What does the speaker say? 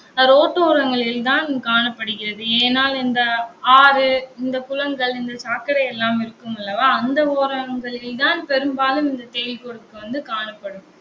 அஹ் road ஓரங்களில் தான் காணப்படுகிறது. இந்த ஆறு, இந்த குளங்கள், இந்த சாக்கடை எல்லாம் இருக்கும் அல்லவா அந்த ஓரங்களில்தான் பெரும்பாலும் இந்த செடிக்கூட வந்து காணப்படும்.